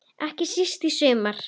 Ekki síst í sumar.